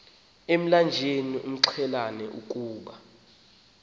emlanjeni amxelela ukuba